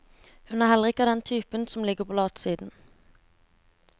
Hun er heller ikke av den typen som ligger på latsiden.